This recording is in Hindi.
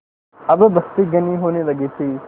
अब बस्ती घनी होने लगी थी